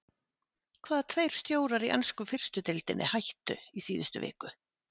Hvaða tveir stjórar í ensku fyrstu deildinni hættu í síðustu viku?